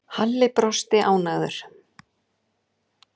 Hef ég séð hann?